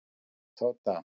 Tóta